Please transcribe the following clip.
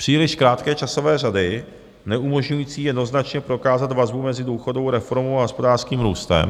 Příliš krátké časové řady neumožňující jednoznačně prokázat vazbu mezi důchodovou reformou a hospodářským růstem.